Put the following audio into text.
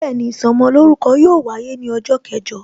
Bẹẹni, ìsọmolórúkọ yóò wáyé ní ọjọ́ kẹjọ